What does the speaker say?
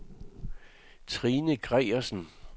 Trine Gregersen